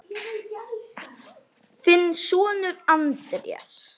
Þinn sonur, Andrés.